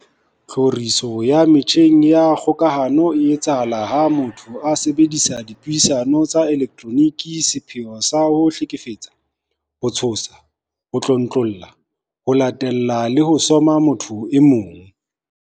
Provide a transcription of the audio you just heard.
Tlhoriso ya metjheng ya kgokahano e etsahala ha motho a sebedisa dipuisano tsa elektroniki ka sepheo sa ho hlekefetsa, ho tshosa, ho tlontlolla, ho latella le ho soma motho e mong.